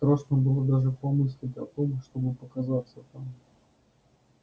страшно было даже помыслить о том чтобы показаться там